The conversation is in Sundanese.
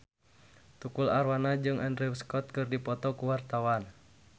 Tukul Arwana jeung Andrew Scott keur dipoto ku wartawan